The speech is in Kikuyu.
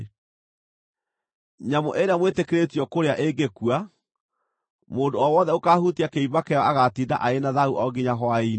“ ‘Nyamũ ĩrĩa mwĩtĩkĩrĩtio kũrĩa ĩngĩkua, mũndũ o wothe ũkaahutia kĩimba kĩayo agaatinda arĩ na thaahu o nginya hwaĩ-inĩ.